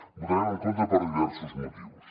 hi votarem en contra per diversos motius